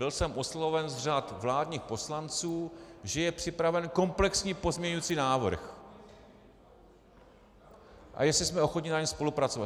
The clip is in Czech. Byl jsem osloven z řad vládních poslanců, že je připraven komplexní pozměňovací návrh a jestli jsme ochotni na něm spolupracovat.